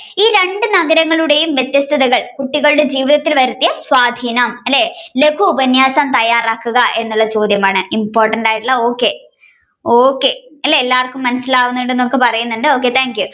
ഈ രണ്ടു നഗരങ്ങളുടെയും വ്യത്യസ്തതകൾ കുട്ടികളുടെ ജീവിതത്തിൽ വരുത്തിയ സ്വാദിനം അല്ലെ ലഖു ഉപന്യാസം തയ്യാറാക്കുക എന്നുള്ള ചോദ്യമാണ് important ആയിട്ടുള്ള okay okay എല്ലാവര്ക്കും മനസിലാവുന്നുണ്ടെന്ന് പറയുന്നുണ്ട് okay thank you